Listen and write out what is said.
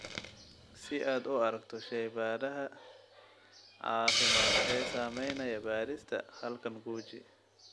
Si aad u aragto shaybaadhada caafimaad ee samaynaya baadhista halkan guji.